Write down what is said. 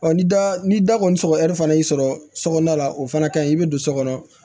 ni da ni da kɔni sɔgɔra fana y'i sɔrɔ sokɔnɔna la o fana ka ɲi i bɛ don so kɔnɔ